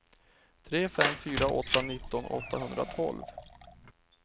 tre fem fyra åtta nitton åttahundratolv